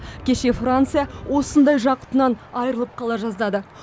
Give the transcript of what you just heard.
кеше франция осындай жақұтынан айырылып қала жаздады